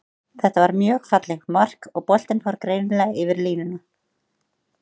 Þetta var mjög fallegt mark, og boltinn fór greinilega yfir línuna.